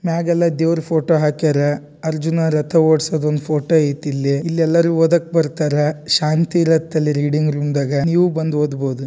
ಮ್ಯಾಗ್ಯೆಲ್ಲ ದೇವ್ರ ಫೋಟೋ ಹಾಕ್ಯಾರ ಅರ್ಜುನ ರಥ ಓಡ್ಸೋ ಒಂದ್ ಫೋಟೋ ಐತಿ ಇಲ್ಲಿ ಇಲ್ಲೆಲ್ಲಾರು ಓದಕ್ ಬರ್ತಾರಾ ಶಾಂತಿ ಇರತ್ತ ಇಲ್ಲಿ ರೀಡಿಂಗ್ ರೂಮ್ನಾ ಗ ನೀವು ಬಂದ್ ಒದ್ಬೋದು.